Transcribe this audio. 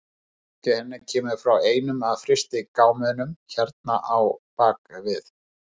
Merkið hennar kemur frá einum af frystigámunum hérna á bak við.